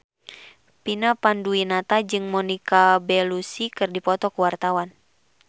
Vina Panduwinata jeung Monica Belluci keur dipoto ku wartawan